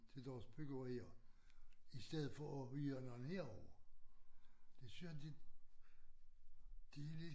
Til deres byggerier i stedet for at hyre nogen herovre det synes jeg de de lige